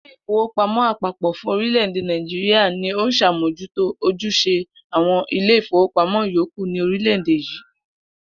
Ilé ìfowópamó̩ àpapò̩ fún orílè̩-èdè Nàìjíríà ni ó ń s̩àmójútó ojús̩e àwo̩n ilé ìfowópamó̩ yòókù ní orílè̩-èdè yìí